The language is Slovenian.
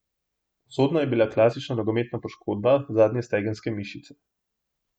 Usodna je bila klasična nogometna poškodba zadnje stegenske mišice.